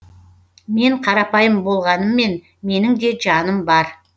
мен қарапайым болғаныммен менің де жаным бар